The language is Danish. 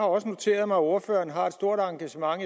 også noteret mig at ordføreren har et stort engagement